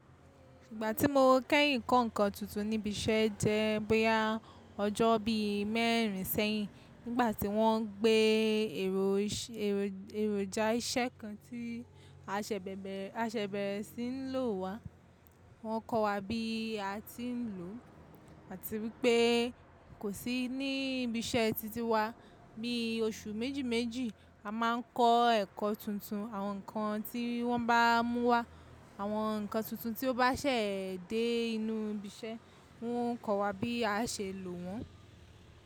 Ìgbà tí mo kẹ́yìn kọ́ nǹkan tuntun ní ibi iṣẹ́ jẹ́ bóyá ọjọ́ bí i mẹ́rin sẹ́yìn nígbà tí wọ́n n gbé ero ise èròjà iṣẹ́ kan tí a sese bere, a ṣe bẹ̀rẹ̀sí ń lò wá. Wọ́n kọ́ wa bí a ti ń lò ó, àti wípé kò sí ní ibi iṣẹ́ titi wa. Bí i oṣù méjì méjì a má ń kọ́ ẹ̀kọ́ tuntun, àwọn nǹkan tí wọ́n bá mú wá, àwọn nǹkan tuntun tí ó bá ṣẹ̀ dé inú ibi iṣẹ́, wọ́n ń kọ́ wa bí a ṣe lò wọ́n.